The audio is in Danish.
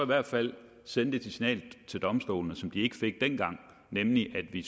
hvert fald sende det signal til domstolene som de ikke fik dengang nemlig at vi